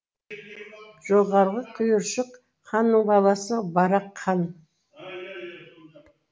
жоғарғы құйыршық ханның баласы барақ хан